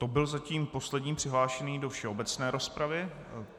To byl zatím poslední přihlášený do všeobecné rozpravy.